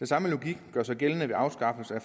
samme logik gør sig gældende ved afskaffelse af